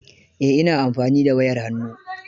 Eh, ina amfani da wayar hannu.